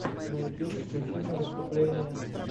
на ютюбе включи мне выступления